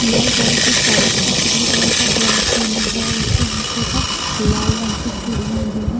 लाल colour के साडी तथा पीले कलर का ब्लाउज़ पहना हुआ हैं। उसके हाथों पर लाल रंग की चूड़ियां भी हैं।